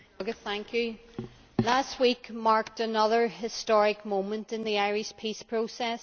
Mr President, last week marked another historic moment in the Irish peace process.